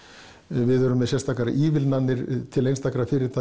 við erum með sérstakar ívilnanir til einstakra fyrirtækja